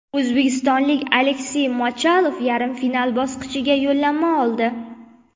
O‘zbekistonlik Aleksey Mochalov yarim final bosqichiga yo‘llanma oldi.